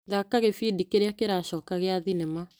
Thaka gĩbindi kĩrĩa kĩracoka gia thinema.